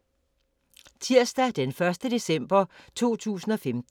Tirsdag d. 1. december 2015